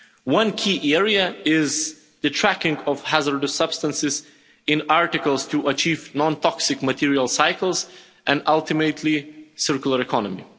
One key area is the tracking of hazardous substances in articles to achieve non toxic material cycles and ultimately a circular economy.